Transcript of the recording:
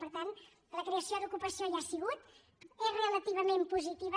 per tant la creació d’ocupació hi ha sigut és relativament positiva